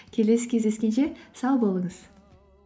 келесі кездесекенше сау болыңыз